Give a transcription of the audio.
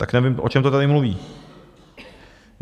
Tak nevím, o čem to tady mluví.